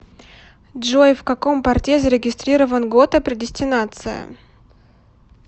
джой в каком порте зарегистрирован гото предестинация